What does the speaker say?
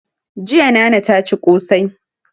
Jiya nana ta ci ƙosai